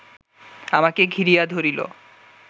আমাকে ঘিরিয়া ধরিল